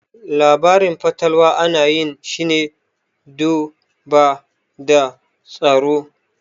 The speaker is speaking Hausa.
Labarin fatalwa ana yin shine do ba da tsoro